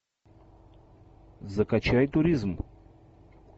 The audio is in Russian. закачай туризм